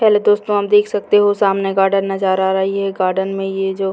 hello दोस्तों आप देख सकते हो सामने गार्डन नजर आ रही है गार्डन में ये जो --